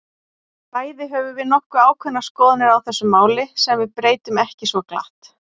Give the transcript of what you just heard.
Bæði höfum við nokkuð ákveðnar skoðanir á þessu máli, sem við breytum ekki svo glatt.